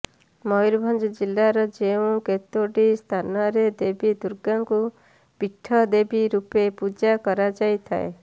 ମୟୂରଭଞ୍ଜ ଜିଲ୍ଲାର ଯେଉଁ କେତୋଟି ସ୍ଥାନରେ ଦେବୀ ଦୁର୍ଗାଙ୍କୁ ପୀଠଦେବୀ ରୂପେ ପୂଜା କରାଯାଇଥାଏ